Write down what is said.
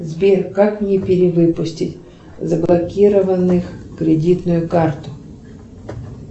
сбер как мне перевыпустить заблокированных кредитную карту